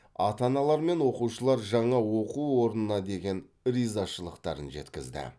ата аналар мен оқушылар жаңа оқу орнынына деген ризашылықтарын жеткізді